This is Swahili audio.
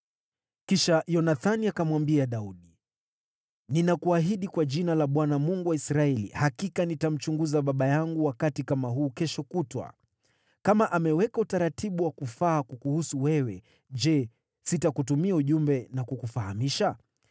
Kisha Yonathani akamwambia Daudi, “Ninakuahidi kwa jina la Bwana , Mungu wa Israeli, hakika nitamchunguza baba yangu wakati kama huu kesho kutwa! Kama ameweka utaratibu wa kufaa kukuhusu wewe, je, sitakutumia ujumbe na kukufahamisha?